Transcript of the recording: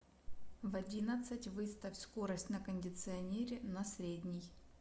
в одиннадцать выставь скорость на кондиционере на средний